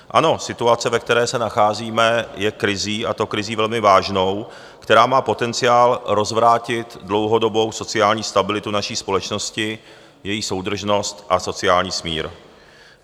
Ano, situace, ve které se nacházíme, je krizí, a to krizí velmi vážnou, která má potenciál rozvrátit dlouhodobou sociální stabilitu naší společnosti, její soudržnost a sociální smír.